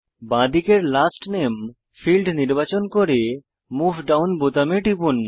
বাঁদিকের লাস্ট নামে ফীল্ড নির্বাচন করে মুভ ডাউন বোতামে টিপুন